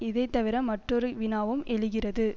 இதைத்தவிர மற்றொரு வினாவும் எழுகிறது